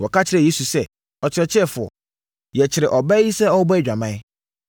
Wɔka kyerɛɛ Yesu sɛ, “Ɔkyerɛkyerɛfoɔ, yɛkyeree ɔbaa yi sɛ ɔrebɔ adwaman,